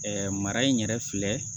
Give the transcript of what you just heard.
mara in yɛrɛ filɛ